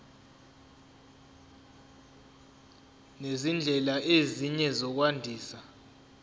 nezindlela ezinye zokwandisa